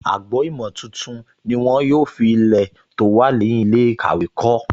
Agbo-ìmọ̀ tuntun ni wọ́n yóò fi Ilẹ̀ tó wà lẹ́yìn ilé ìkàwé kọ́